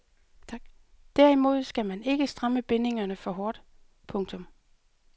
Derimod skal man ikke stramme bindingerne for hårdt. punktum